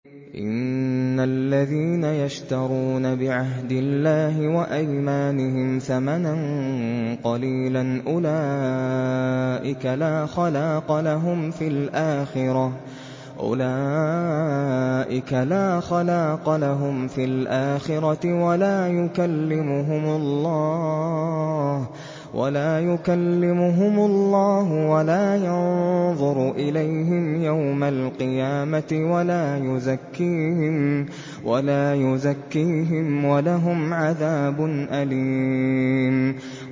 إِنَّ الَّذِينَ يَشْتَرُونَ بِعَهْدِ اللَّهِ وَأَيْمَانِهِمْ ثَمَنًا قَلِيلًا أُولَٰئِكَ لَا خَلَاقَ لَهُمْ فِي الْآخِرَةِ وَلَا يُكَلِّمُهُمُ اللَّهُ وَلَا يَنظُرُ إِلَيْهِمْ يَوْمَ الْقِيَامَةِ وَلَا يُزَكِّيهِمْ وَلَهُمْ عَذَابٌ أَلِيمٌ